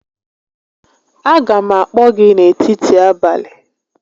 A ga m akpọ gị n'etiti abalị